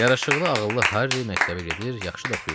Yaraşıqlı, ağıllı Harri məktəbə gedir, yaxşı da oxuyurdu.